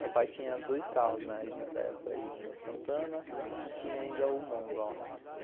Meu pai tinha dois carros nessa época, um Santana e tinha ainda o Monza lá.